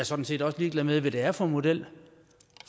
sådan set også ligeglad med hvad det er for en model